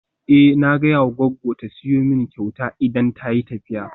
Eh na gaya ma goggo ta siyo min kyauta idan tayi tafiya.